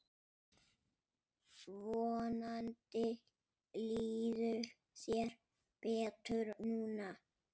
Vonandi líður þér betur núna.